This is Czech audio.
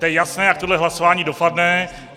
To je jasné, jak tohle hlasování dopadne.